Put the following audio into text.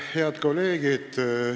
Head kolleegid!